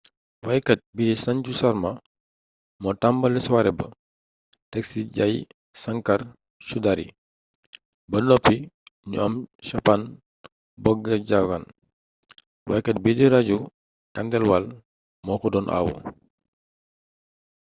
waykat bii di sanju sharma moo tàmbali soirée ba teg ci jai shankar choudhary ba noppi ñu am chhappan bhog bhajan waykat bii di raju khandelwal moo ko doon awu